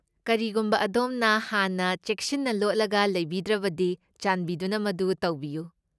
ꯀꯔꯤꯒꯨꯝꯕ ꯑꯗꯣꯝꯅ ꯍꯥꯟꯅ ꯆꯦꯡꯁꯤꯟꯅ ꯂꯣꯠꯂꯒ ꯂꯩꯕꯤꯗ꯭ꯔꯕꯗꯤ, ꯆꯥꯟꯕꯤꯗꯨꯅ ꯃꯗꯨ ꯇꯧꯕꯤꯌꯨ꯫